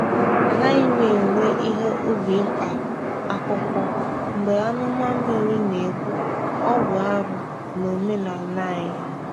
A naghị m ewe ihe ubi mkpa akwụkwọ mgbe amụma mmiri na-egbu-ọ bụ arụ n’omenala anyị.